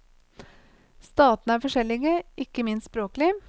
Statene er forskjellige, ikke minst språklig.